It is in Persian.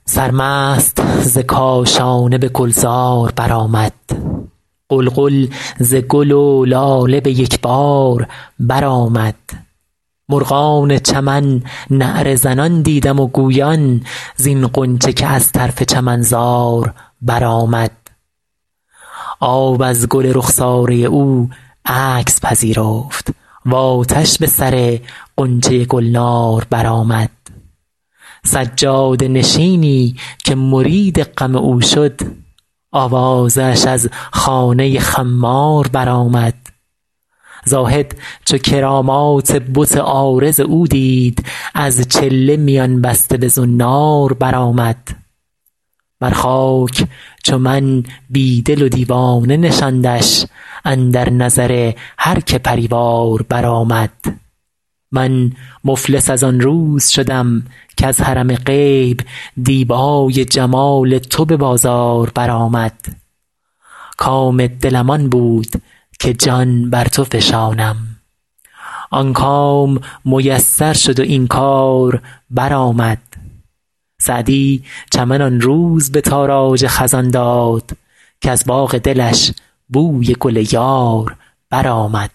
سرمست ز کاشانه به گلزار برآمد غلغل ز گل و لاله به یک بار برآمد مرغان چمن نعره زنان دیدم و گویان زین غنچه که از طرف چمنزار برآمد آب از گل رخساره او عکس پذیرفت و آتش به سر غنچه گلنار برآمد سجاده نشینی که مرید غم او شد آوازه اش از خانه خمار برآمد زاهد چو کرامات بت عارض او دید از چله میان بسته به زنار برآمد بر خاک چو من بی دل و دیوانه نشاندش اندر نظر هر که پری وار برآمد من مفلس از آن روز شدم کز حرم غیب دیبای جمال تو به بازار برآمد کام دلم آن بود که جان بر تو فشانم آن کام میسر شد و این کار برآمد سعدی چمن آن روز به تاراج خزان داد کز باغ دلش بوی گل یار برآمد